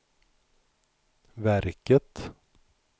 verket